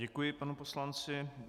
Děkuji panu poslanci.